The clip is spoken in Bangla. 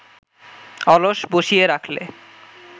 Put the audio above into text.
অলস বসিয়ে রাখলে